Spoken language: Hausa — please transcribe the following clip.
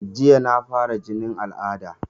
Jiya na fara jinin al'ada